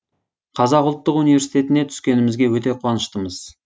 қазақ ұлттық университетіне түскенімізге өте қуаныштымыз